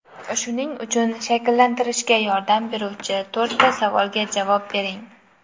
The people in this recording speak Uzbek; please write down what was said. Shuning uchun shakllantirishga yordam beruvchi to‘rtta savolga javob bering.